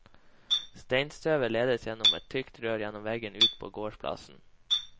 Steinstøvet ledes gjennom et tykt rør gjennom veggen og ut på gårdsplassen.